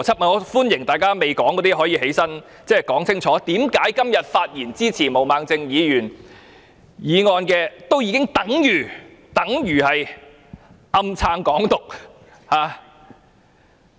我歡迎尚未發言的議員站起來說清楚，為何今天發言支持毛孟靜議員議案的議員已經等於暗中支持"港獨"。